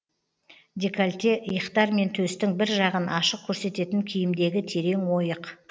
декольте иықтар мен төстің бір жағын ашық көрсететін киімдегі терең ойық